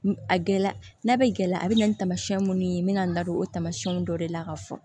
A gɛlɛya n'a bɛ gɛlɛya a bɛ na ni taamasiyɛn minnu ye n bɛ na n da don o tamasiyɛnw dɔ de la ka fɔ